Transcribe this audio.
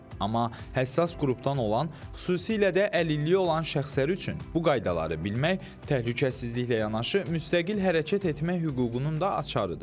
Amma həssas qrupdan olan, xüsusilə də əlilliyi olan şəxslər üçün bu qaydaları bilmək təhlükəsizliklə yanaşı müstəqil hərəkət etmək hüququnun da açarıdır.